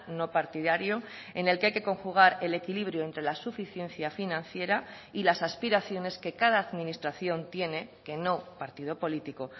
no partidario en el que hay que conjugar el equilibrio entre la suficiencia financiera y las aspiraciones que cada administración tiene que no partido político